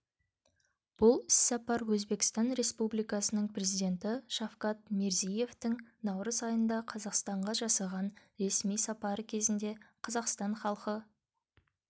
бұл іссапар өзбекстан республикасының президенті шавкат мирзиевтің наурыз айында қазақстанға жасаған ресми сапары кезінде қазақстан халқы